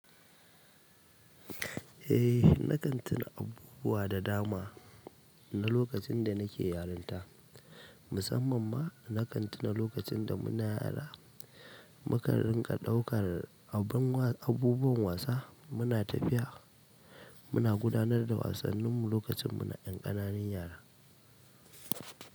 Eeh nakan tuna abubuwa da dama na lokacin da nike yaranta musamman na kan tina lokacinda nike yara nakan ɗauka abun abubuwan wasa, muna tafiya, muna gudanar da wasannin lokacin mu na ƴan ƙananan yara.